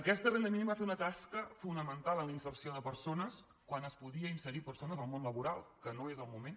aquesta renda mínima va fer una tasca fonamental en la inserció de persones quan es podia inserir persones al món laboral que no és el moment